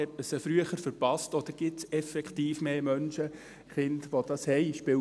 Hat man sie früher verpasst, oder gibt es effektiv mehr Menschen, Kinder, die das haben?